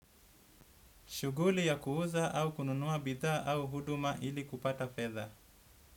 Shuguli ya kuuza au kununua bidhaa au huduma ili kupata fedha.